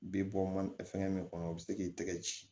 Bi bɔ mana fɛngɛ min kɔnɔ o be se k'i tɛgɛ ci